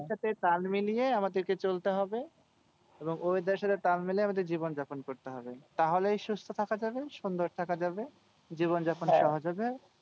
weather এর সাথে তাল মিলিয়ে আমাদেরকে চলতে হবে এবং weather এর সাথে তাল মিলিয়ে আমাদের জীবনযাপন করতে হবে। তাহলেই সুস্থ থাকা যাবে সুন্দর থাকা যাবে জীবনযাপন সহজ হবে।